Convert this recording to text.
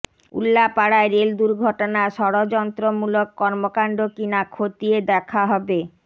উল্লাপাড়ায় rail দুর্ঘটনা ষড়যন্ত্রমূলক কর্মকাণ্ড কিনা খতিয়ে দেখা হবে